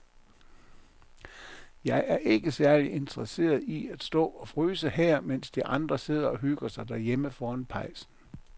Jeg er ikke særlig interesseret i at stå og fryse her, mens de andre sidder og hygger sig derhjemme foran pejsen.